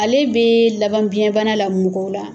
Ale bɛ laban biɲɛbana la mɔgɔw la.